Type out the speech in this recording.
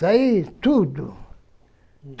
Sai tudo.